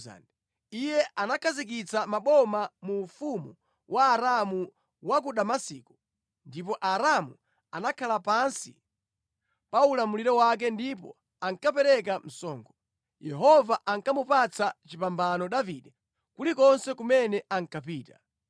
Iye anakhazikitsa maboma mu ufumu wa Aramu wa ku Damasiko, ndipo Aaramu anakhala pansi pa ulamuliro wake ndipo ankapereka msonkho. Yehova ankamupatsa chipambano Davide kulikonse kumene ankapita.